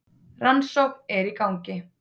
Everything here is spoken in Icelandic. Rannsókn er í gangi.